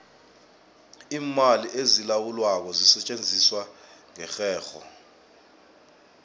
iimali ezilawulwako zisetjenziswa ngerherho